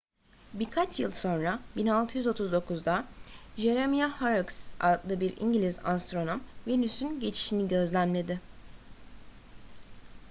birkaç yıl sonra 1639'da jeremiah horrocks adlı bir i̇ngiliz astronom venüs'ün geçişini gözlemledi